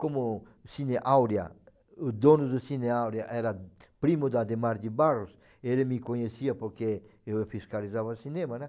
Como o Cine Áurea, o dono do Cine Áurea era primo do Adhemar de Barros, ele me conhecia porque eu fiscalizava cinema, né?